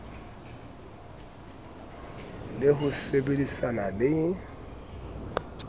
le ho se sebedisane le